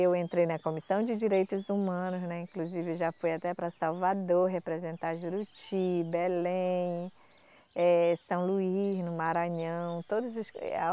Eu entrei na Comissão de Direitos Humanos, né, inclusive eu já fui até para Salvador representar Juruti, Belém, eh, São Luís, no Maranhão, todos os eh